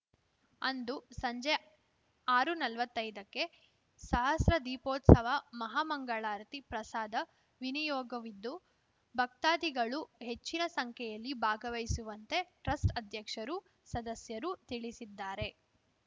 ಅಂದು ಸಂಜೆ ಆರುನಲ್ವತ್ತೈದಕ್ಕೆ ಸಹಸ್ರ ದೀಪೋತ್ಸವ ಮಹಾ ಮಂಗಳಾರತಿ ಪ್ರಸಾದ ವಿನಿಯೋಗವಿದ್ದು ಭಕ್ತಾದಿಗಳು ಹೆಚ್ಚಿನ ಸಂಖ್ಯೆಯಲ್ಲಿ ಭಾಗವಹಿಸುವಂತೆ ಟ್ರಸ್ಟ್‌ ಅಧ್ಯಕ್ಷರು ಸದಸ್ಯರು ತಿಳಿಸಿದ್ದಾರೆ